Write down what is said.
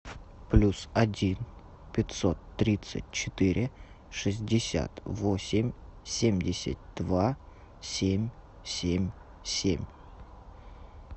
плюс один пятьсот тридцать четыре шестьдесят восемь семьдесят два семь семь семь